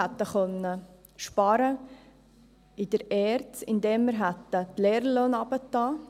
Wir hätten in der ERZ sparen können, indem wir die Lehrerlöhne gesenkt hätten.